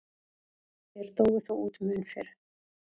Þeir dóu þó út mun fyrr.